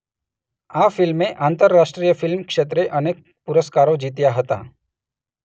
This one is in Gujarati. આ ફિલ્મે આંતરાષ્ટ્રીય ફિલ્મ ક્ષેત્રે અનેક પુરસ્કારો જીત્યા હતા.